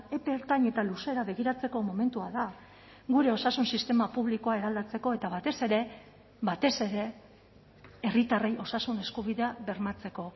epe ertain eta luzera begiratzeko momentua da gure osasun sistema publikoa eraldatzeko eta batez ere batez ere herritarrei osasun eskubidea bermatzeko